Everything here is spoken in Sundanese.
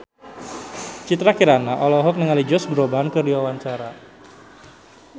Citra Kirana olohok ningali Josh Groban keur diwawancara